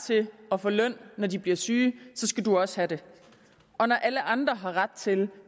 til at få løn når de bliver syge så skal du også have det og når alle andre har ret til